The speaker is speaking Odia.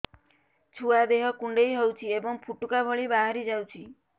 ଛୁଆ ଦେହ କୁଣ୍ଡେଇ ହଉଛି ଏବଂ ଫୁଟୁକା ଭଳି ବାହାରିଯାଉଛି